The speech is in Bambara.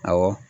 Awɔ